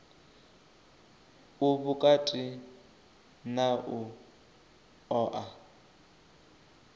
u vhukati na u oa